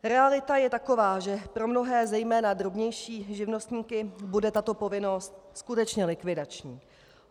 Realita je taková, že pro mnohé, zejména drobnější živnostníky bude tato povinnost skutečně likvidační.